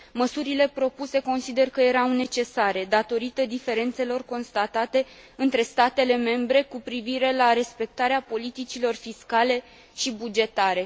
Măsurile propuse consider că erau necesare, datorită diferențelor constatate între statele membre cu privire la respectarea politicilor fiscale și bugetare.